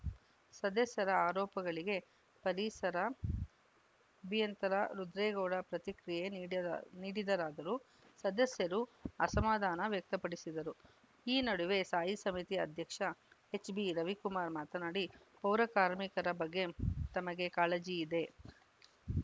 ಸದಸ್ಯರ ಆರೋಪಗಳಿಗೆ ಪರಿಸರ ಅಭಿಯಂತರ ರುದ್ರೇಗೌಡ ಪ್ರತಿಕ್ರಿಯೆ ನೀಡಿದರ್ ನೀಡಿದರಾದರೂ ಸದಸ್ಯರು ಅಸಮಾಧಾನ ವ್ಯಕ್ತಪಡಿಸಿದರು ಈ ನಡುವೆ ಸ್ಥಾಯಿ ಸಮಿತಿಯ ಅಧ್ಯಕ್ಷ ಎಚ್‌ಬಿ ರವಿಕುಮಾರ್‌ ಮಾತನಾಡಿ ಪೌರ ಕಾರ್ಮಿಕರ ಬಗ್ಗೆ ತಮಗೆ ಕಾಳಜಿ ಇದೆ